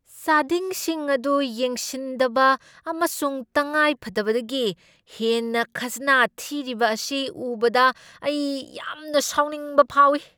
ꯆꯥꯗꯤꯡꯁꯤꯡ ꯑꯗꯨ ꯌꯦꯡꯁꯤꯟꯗꯕ ꯑꯃꯁꯨꯡ ꯇꯉꯥꯏꯐꯗꯕꯗꯒꯤ ꯍꯦꯟꯅ ꯈꯥꯖꯅꯥ ꯊꯤꯔꯤꯕ ꯑꯁꯤ ꯎꯕꯗ ꯑꯩ ꯌꯥꯝꯅ ꯁꯥꯎꯅꯤꯡꯕ ꯐꯥꯎꯏ꯫